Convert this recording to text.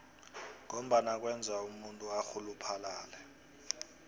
ngombana kwenza umuntu arhuluphale